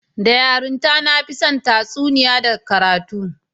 Da yarinta, na fi son tatsuniya da karatu